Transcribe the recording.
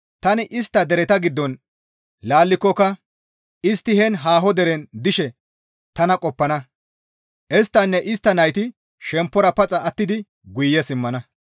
Tani istta dereta giddon laallikokka istti heen haaho deren dishe tana qoppana; isttanne istta nayti shemppora paxa attidi guye simmana.